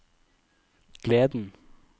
gleden